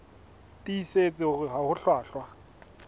tiisitse hore ha ho hlwahlwa